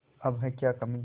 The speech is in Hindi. अब है क्या कमीं